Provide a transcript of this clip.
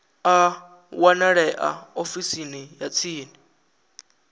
a wanalea ofisini ya tsini